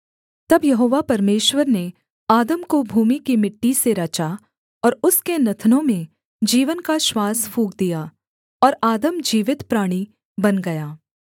तब यहोवा परमेश्वर ने आदम को भूमि की मिट्टी से रचा और उसके नथनों में जीवन का श्वास फूँक दिया और आदम जीवित प्राणी बन गया